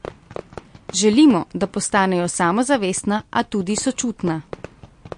Želimo, da postanejo samozavestna, a tudi sočutna.